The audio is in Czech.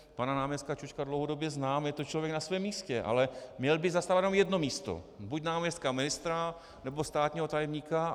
Pana náměstka Čočka dlouhodobě znám, je to člověk na svém místě, ale měl by zastávat jenom jedno místo, buď náměstka ministra, nebo státního tajemníka.